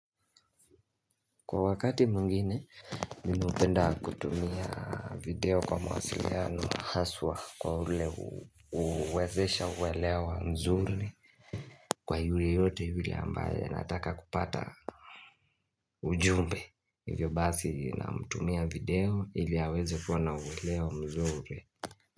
Kwa wakati mwingine, mimi hupenda kutumia video kwa mawasiliano haswa kwa ule huwezesha uwelewa mzuri Kwa yule yote yule ambaye anataka kupata ujumbe Hivyo basi na mtumia video ili aweze kuwa na uwelewa mzuri.